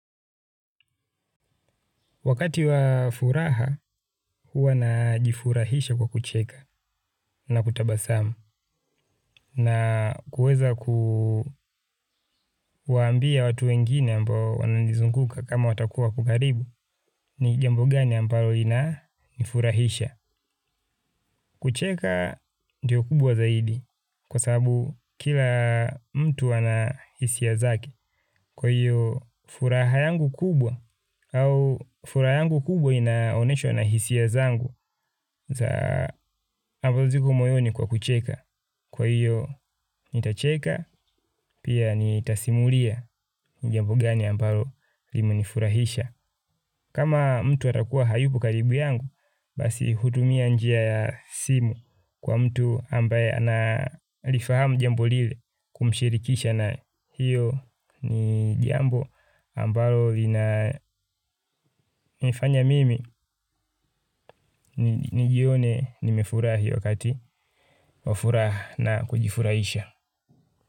Wakati wa furaha huwa najifurahisha kwa kucheka na kutabasamu na kuweza kuwaambia watu wengine ambao wananizizunguka kama watakuwa wako karibu ni jambo gani ambalo inanifurahisha. Kucheka ndio kubwa zaidi kwa sababu kila mtu ana hisia zake. Kwa hiyo furaha yangu kubwa au furaha yangu kubwa inaoneshwa na hisia zangu za ambao ziko moyoni kwa kucheka. Kwa hiyo nitacheka pia nitasimulia ni jambo gani ambalo limenifurahisha. Kama mtu atakuwa hayupo karibu yangu, basi hutumia njia ya simu kwa mtu ambaye analifahamu jambo lile kumshirikisha na hiyo ni jambo ambalo linanifanya mimi nijione nimefurahi wakati wa furaha na kujifurahisha.